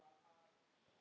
Eins vildi hann hlusta.